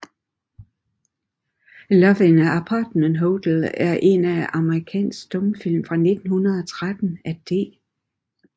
Love in an Apartment Hotel er en amerikansk stumfilm fra 1913 af D